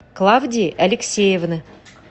клавдии алексеевны